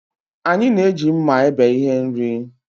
Anyị na-eji mma ebe ihe nri